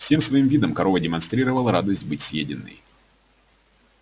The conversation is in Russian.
всем своим видом корова демонстрировала радость быть съеденной